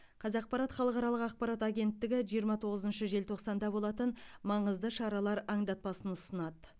қазақпарат халықаралық ақпарат агенттігі жиырма тоғызыншы желтоқсанда болатын маңызды шаралар аңдатпасын ұсынады